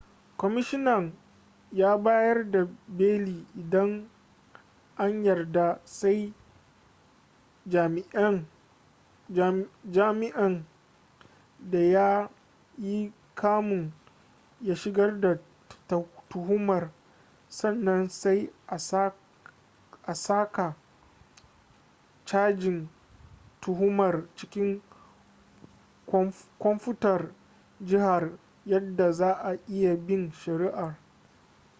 kwamishinan ya bayar da beli idan an yarda sai jami'in da ya yi kamun ya shigar da tuhumar sannan sai a saka cajin tuhumar cikin kwamfutar jihar yadda za'a iya bin shari'ar